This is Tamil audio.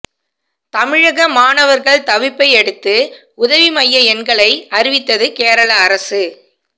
தமிழக மாணவர்கள் தவிப்பையடுத்து உதவி மைய எண்களை அறிவித்தது கேரள அரசு